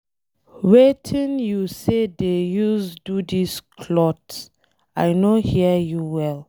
Wetin you say dey use do dis cloth? I no hear you well.